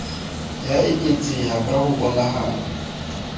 ya eketseha ka ho bonahalang